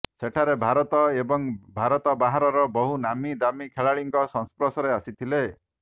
ସେଠାରେ ଭାରତ ଏବଂ ଭାରତ ବାହାରର ବହୁ ନାମୀ ଦାମୀ ଖେଳାଳିଙ୍କ ସଂସ୍ପର୍ଶରେ ଆସିଥିଲେ